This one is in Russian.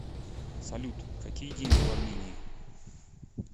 салют какие деньги в армении